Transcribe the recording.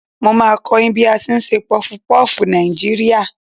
Màá a kó yín bí a tí n se pufupúfù Nàìjíríà